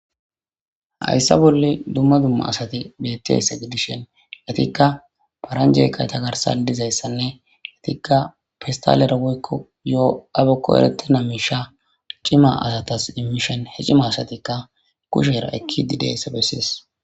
hayssa bolle dumma dumma asati betti hese gidishen latikka paranjee kayta garsa dizayssanne latikka fistalera woykko yoo abekko eretena misha cima asatas imishen he cima asatikka kushera ekki dideyssa bessies